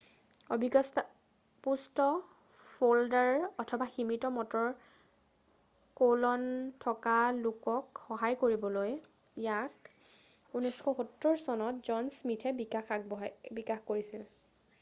অভিজ্ঞতাপুষ্ট ফ'ল্ডাৰ অথবা সীমিত মটৰ কৌলন থকা লোকক সহায় কৰিবলৈ ইয়াক 1970 চনত জন স্মিথে বিকাশ কৰিছিল